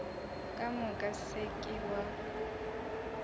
ka moka se ke wa